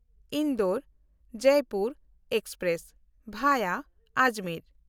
Indore-Jaipur express ᱵᱷᱟᱭᱟ Ajmer